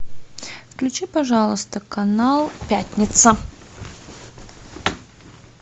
включи пожалуйста канал пятница